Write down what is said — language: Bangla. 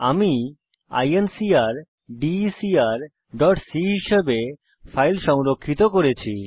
আমি incrdecrসি হিসাবে ফাইল সংরক্ষিত করেছি